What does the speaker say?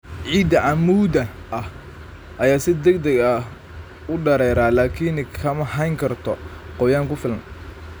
Ciidda cammuudda ah ayaa si degdeg ah u dareera laakiin ma hayn karto qoyaan ku filan.